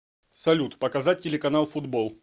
салют показать телеканал футбол